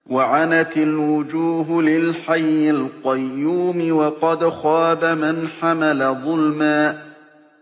۞ وَعَنَتِ الْوُجُوهُ لِلْحَيِّ الْقَيُّومِ ۖ وَقَدْ خَابَ مَنْ حَمَلَ ظُلْمًا